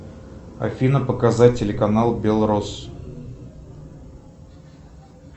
афина показать телеканал белрос